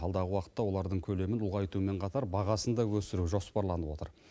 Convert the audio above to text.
алдағы уақытта олардың көлемін ұлғайтумен қатар бағасын да өсіру жоспарланып отыр